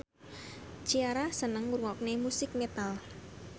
Ciara seneng ngrungokne musik metal